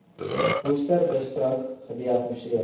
worcesterdistrik gediagnoseer